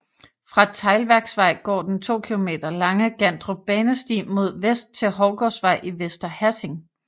Fra Teglværksvej går den 2 km lange Gandrup Banesti mod vest til Hovgårdsvej i Vester Hassing